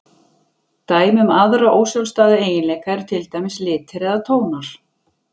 Dæmi um aðra ósjálfstæða eiginleika eru til dæmis litir eða tónar.